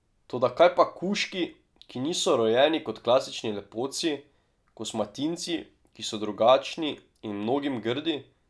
Toda kaj pa kužki, ki niso rojeni kot klasični lepotci, kosmatinci, ki so drugačni in mnogim grdi?